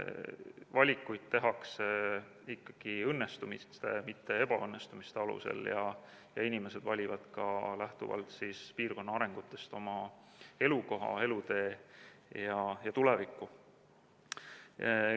Valikuid tehakse ikkagi õnnestumiste, mitte ebaõnnestumiste alusel, ja inimesed valivad ka lähtuvalt piirkonna arengutest oma elukoha, elutee ja tuleviku.